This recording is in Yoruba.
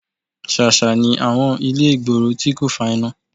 Ṣàṣà ni àwọn ilé ìgboro tí kò fa iná